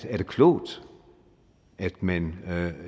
er det klogt at man